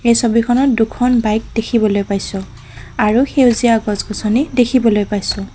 এই ছবিখনত দুখন বাইক দেখিবলৈ পাইছোঁ আৰু সেউজীয়া গছগছনি দেখিবলৈ পাইছোঁ।